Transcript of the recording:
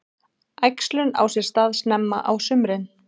Æxlun á sér stað snemma á sumrin.